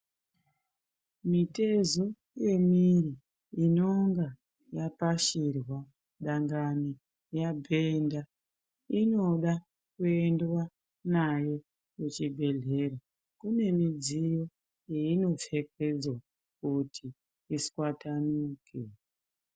Mitezo yemiri inonga yapashirwa dangani yabhenda inoda kuendwa nayo kuchibhedhlera kune midziyo yeinopfekedzwa kuti iswatanudzwe.